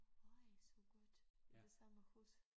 Øj så godt i det samme hus